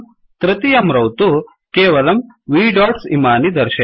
तृतीयं रौ तु केवलं v डॉट्स् इमानि दर्शयति